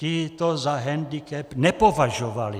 Ti to za handicap nepovažovali.